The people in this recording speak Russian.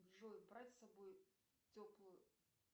джой брать с собой теплую